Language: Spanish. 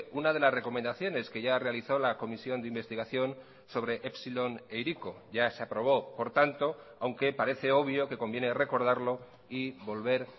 una de las recomendaciones que ya realizó la comisión de investigación sobre epsilon e hiriko ya se aprobó por tanto aunque parece obvio que conviene recordarlo y volver